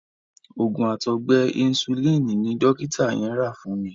Òògùn àtọgbẹ Insulin ni dọ́kítà yẹn rà fún mi.